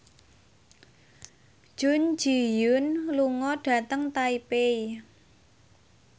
Jun Ji Hyun lunga dhateng Taipei